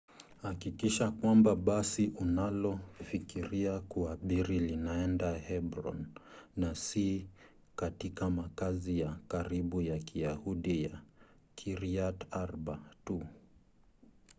hakikisha kwamba basi unalofikiria kuabiri linaenda hebron na si katika makazi ya karibu ya kiyahudi ya kiryat arba tu